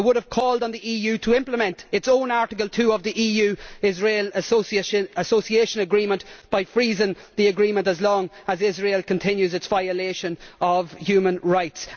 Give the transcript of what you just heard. they would have called on the EU to implement its own Article 2 of the EU Israel Association Agreement by freezing the agreement as long as Israel continues its violation of human rights